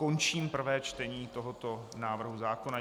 Končím prvé čtení tohoto návrhu zákona.